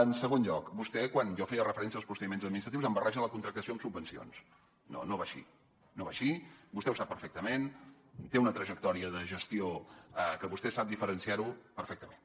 en segon lloc vostè quan jo feia referència als procediments administratius em barreja la contractació amb subvencions no no va així no va així vostè ho sap perfectament té una trajectòria de gestió que vostè sap diferenciar ho perfectament